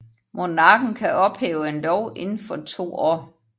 Monarken kan ophæve en lov inden for to år